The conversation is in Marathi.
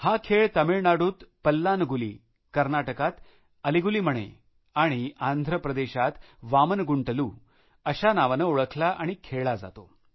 हा खेळ तामिळनाडूत पल्लान्गुली कर्नाटकात अलि गुलि मणे आणि आंध्रप्रदेशात वामन गुंतलू अशा नावानं ओळखला आणि खेळला जातो